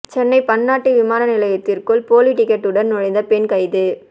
சென்னை பன்னாட்டு விமான நிலையத்திற்குள் போலி டிக்கெட்டுடன் நுழைந்த பெண் கைது